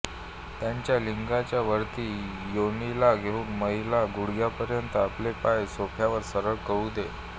त्याच्या लिंगाच्या वरती योनीला घेवून महिला गुडघ्यापर्यंत आपले पाय सोफ्यावर सरळ करू दे